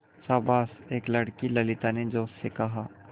शाबाश एक लड़की ललिता ने जोश से कहा